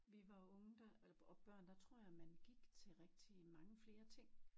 Vi var unge der eller og børn der tror jeg man gik til rigtig mange flere ting